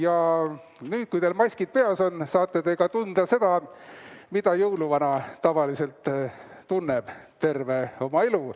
Ja nüüd, kui teil maskid peas on, saate te tunda ka seda, mida jõuluvana tavaliselt tunneb terve oma elu.